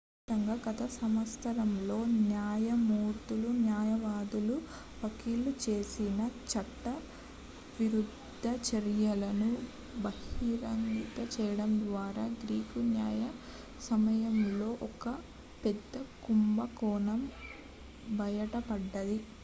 దీని ఫలితంగా గత సంవత్సరాలలో న్యాయమూర్తులు న్యాయవాదులు వకీలులు చేసిన చట్టవిరుద్ధ చర్యలను బహిర్గతం చేయడం ద్వారా గ్రీకు న్యాయ సమాజంలో ఒక పెద్ద కుంభకోణం బయటపడింది